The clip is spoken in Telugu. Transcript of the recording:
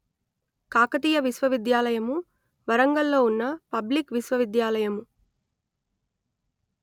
కాకతీయ విశ్వవిద్యాలయము వరంగల్ ‌లో ఉన్న పబ్లిక్ విశ్వవిద్యాలయము